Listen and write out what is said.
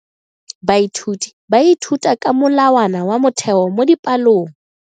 Baithuti ba ithuta ka molawana wa motheo mo dipalong.